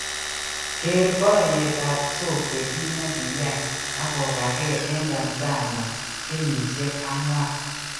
Ker porietb ap sokwe kit ne ki yai ago gage en tanzania kenyishiek 4.